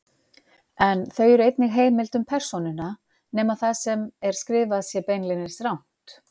En þau eru einnig heimild um persónuna, nema það sem er skrifað sé beinlínis rangt.